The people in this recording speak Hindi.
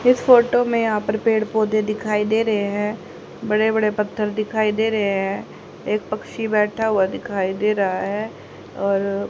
इस फोटो में यहां पर पेड़ पौधे दिखाई दे रहे हैं बड़े बड़े पत्थर दिखाई दे रहे हैं एक पक्षी बैठा हुआ दिखाई दे रहा है और--